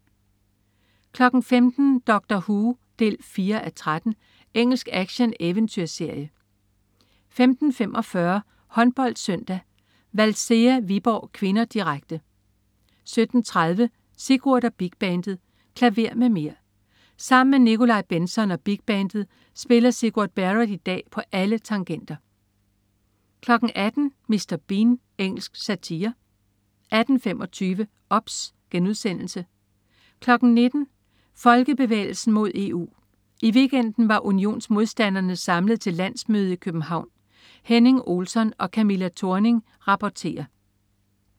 15.00 Doctor Who 4:13. Engelsk action-eventyrserie 15.45 HåndboldSøndag: Valcea-Viborg (k), direkte 17.30 Sigurd og Big Bandet. Klaver med mer! Sammen med Nikolaj Bentzon og bigbandet spiller Sigurd Barrett i dag på alle tangenter 18.00 Mr. Bean. Engelsk satire 18.25 OBS* 19.00 Folkebevægelsen mod EU. I weekenden var unionsmodstanderne samlet til landsmøde i København. Henning Olsson og Camilla Thorning rapporterer